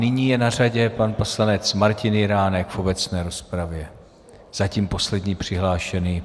Nyní je na řadě pan poslanec Martin Jiránek v obecné rozpravě, zatím poslední přihlášený.